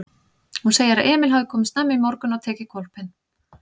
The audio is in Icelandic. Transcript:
Hún segir að Emil hafi komið snemma í morgun og tekið hvolpinn.